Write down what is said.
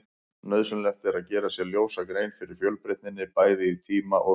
Nauðsynlegt er að gera sér ljósa grein fyrir fjölbreytninni, bæði í tíma og rúmi.